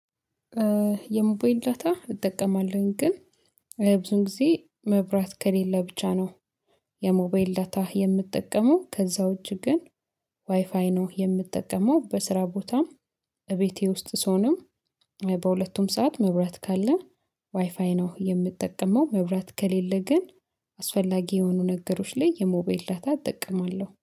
የሞባይል ዳታ እጠቀማለሁኝ ግን የብዙን ጊዜ መብራት ከሌለ ብቻ ነው። የሞቢል ዳታ የምትጠቀመው ከዛው ዉጭ ግን ዋይፋይ ነው የምትጠቀመው በስራ ቦታም። እቤቴ ውስጥ ስሆንም በሁለቱም ሰዓት መብራት ካለ ዋይፋይ ነው የምጠቀመው። መብራት ከሌለ ግን አስፈላጊ የሆኑ ነገሮች ላይ የሞባይልያ ዳታ እጠቀማለሁ